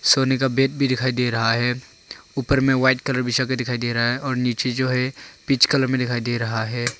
सोने का बेड भी दिखाई दे रहा है ऊपर मे व्हाईट कलर दिखाई दे रहा है और नीचे जो है पिच कलर मे दिखाई दे रहा है।